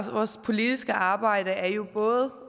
vores politiske arbejde er jo både